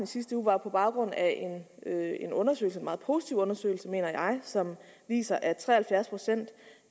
sidste uge var på baggrund af en undersøgelse en meget positiv undersøgelse mener jeg som viser at tre og halvfjerds procent